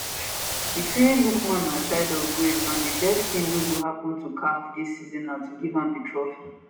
e say lookman na child of grace and di best tin wey go happun to caf dis season na to give am di trophy